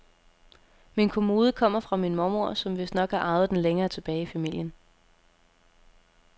Min kommode kommer fra min mormor, som vistnok har arvet den længere tilbage i familien.